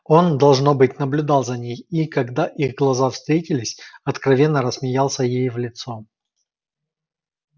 он должно быть наблюдал за ней и когда их глаза встретились откровенно рассмеялся ей в лицо